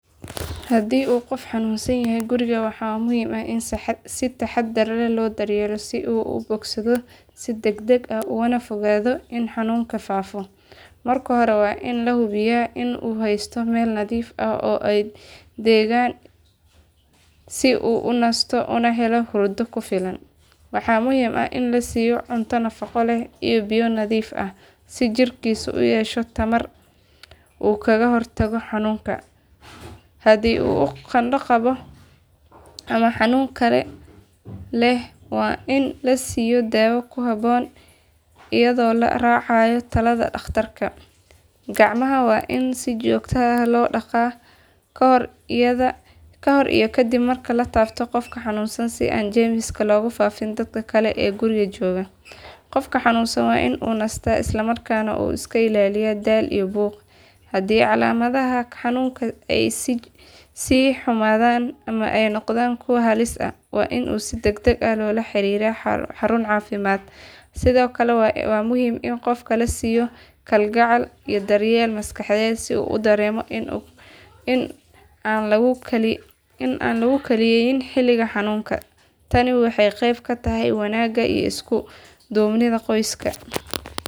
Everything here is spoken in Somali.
Haddii qof xanuunsan yahay guriga waxaa muhiim ah in si taxaddar leh loo daryeelo si uu u bogsado si degdeg ah ugana fogaado in xanuunku faafo. Marka hore waa in la hubiyaa in uu haysto meel nadiif ah oo deggan si uu u nasto una helo hurdo ku filan. Waxaa muhiim ah in la siiyo cunto nafaqo leh iyo biyo nadiif ah si jirkiisu u yeesho tamar uu kaga hortago xanuunka. Haddii uu qandho qabo ama xanuun kale leh waa in la siiyo daawo habboon iyadoo la raacayo talada dhakhtarka. Gacmaha waa in si joogto ah loo dhaqaa kahor iyo kadib marka la taabto qofka xanuunsan si aan jeermis loogu faafin dadka kale ee guriga jooga. Qofka xanuunsan waa in uu nastaa islamarkaana uu iska ilaaliyo daal iyo buuq. Haddii calaamadaha xanuunka ay sii xumaadaan ama ay noqdaan kuwo halis ah waa in si degdeg ah loola xiriiro xarun caafimaad. Sidoo kale waa muhiim in qofka la siiyo kalgacal iyo daryeel maskaxeed si uu u dareemo in aan lagu kaliyeeyn xilliga xanuunka. Tani waxay qayb ka tahay wanaagga iyo isku duubnida qoyska.